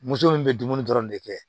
Muso min bɛ dumuni dɔrɔn de kɛ